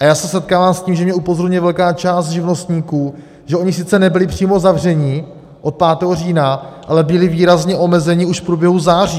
A já se setkávám s tím, že mě upozorňuje velká část živnostníků, že oni sice nebyli přímo zavřeni od 5. října, ale byli výrazně omezeni už v průběhu září.